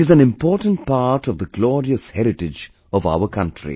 It is an important part of the glorious heritage of our country